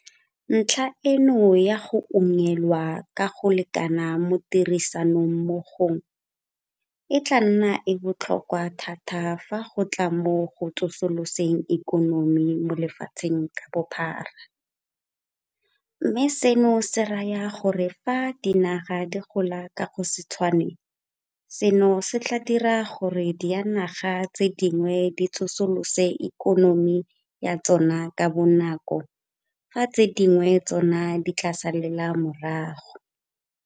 Ntlha eno ya go unngwelwa ka go lekana mo tirisanommogong e tla nna e e botlhokwa thata fa go tla mo go tsosoloseng ikonomi mo lefatsheng ka bophara, mme seno se raya gore fa dinaga di gola ka go se tshwane seno se tla dira gore dianaga tse dingwe di tsosolose ikonomi ya tsona ka bonako fa tse dingwe tsona di tla salela morago.